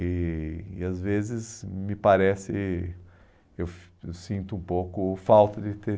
E e às vezes me parece, eu eu sinto um pouco falta de ter...